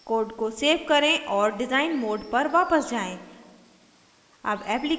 code को save करें और डिजाइन mode पर वापस जाएँ